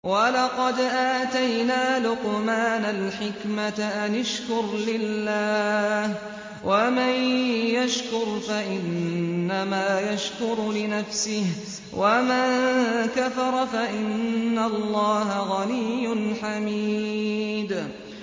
وَلَقَدْ آتَيْنَا لُقْمَانَ الْحِكْمَةَ أَنِ اشْكُرْ لِلَّهِ ۚ وَمَن يَشْكُرْ فَإِنَّمَا يَشْكُرُ لِنَفْسِهِ ۖ وَمَن كَفَرَ فَإِنَّ اللَّهَ غَنِيٌّ حَمِيدٌ